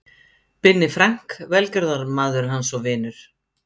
Binni Frank, velgjörðarmaður hans og vinur.